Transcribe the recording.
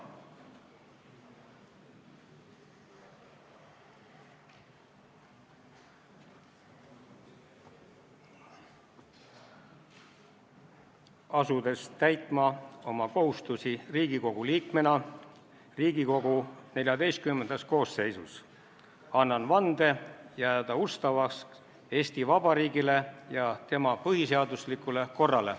Asudes täitma oma kohustusi Riigikogu liikmena Riigikogu XIV koosseisus, annan vande jääda ustavaks Eesti Vabariigile ja tema põhiseaduslikule korrale.